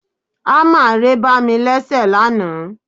Ámà ré bá mí léṣe lánàá